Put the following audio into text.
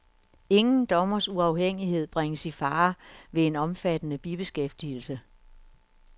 Ingen dommers uafhængighed bringes i fare ved en omfattende bibeskæftigelse.